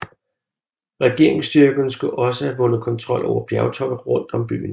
Regeringsstyrkerne skulle også have vundet kontrol over bjergtoppe rundt om byen